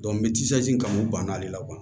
n bɛ kan u banna ale la